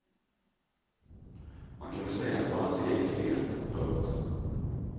Man kunde säga att det var hans eget fel. punkt